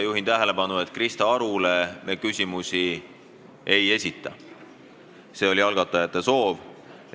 Juhin tähelepanu, et Krista Arule me küsimusi ei esita, sest selline on algatajate soov.